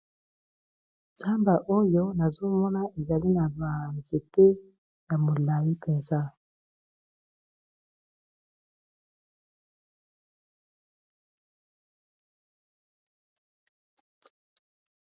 Zamba oyo nazomona ezali na ba nzete ya molayi mpenza.